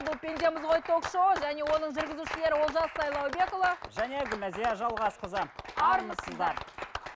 бұл пендеміз ғой ток шоуы және оның жүргізушілері олжас сайлаубекұлы және гүлнәзия жалғасқызы армысыздар